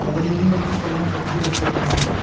அதுலயும் ரூஃபெல்லாம் கெட்டி வச்சிருக்காங்க.